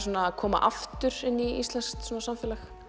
að koma aftur inn í íslenskt samfélag